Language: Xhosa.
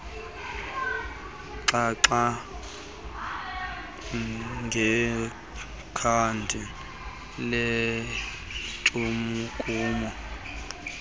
xoxa ngekhadi lentshukumo